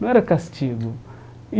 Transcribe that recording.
Não era castigo. E